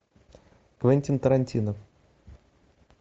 квентин тарантино